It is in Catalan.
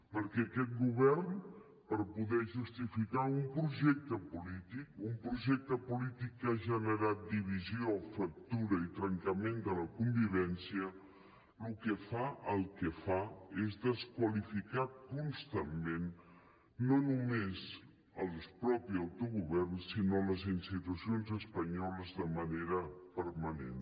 perquè aquest govern per poder justificar un projecte polític un projecte polític que ha generat divisió fractura i trencament de la convivència el que fa és desqualificar constantment no només el mateix autogovern sinó les institucions espanyoles de manera permanent